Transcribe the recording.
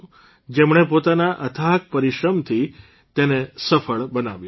જેમણે પોતાના અથાક પરિશ્રમથી તેને સફળ બનાવ્યી છે